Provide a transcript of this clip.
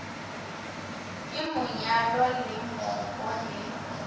ke monyalo le mooko le